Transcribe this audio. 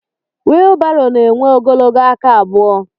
wịịlbarò na-énwé ogologo aka abụo